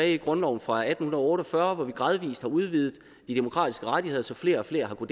i grundloven fra atten otte og fyrre og vi gradvis udvidet de demokratiske rettigheder så flere og flere har